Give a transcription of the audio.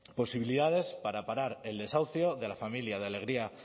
posibilidades para parar el desahucio de la familia de alegría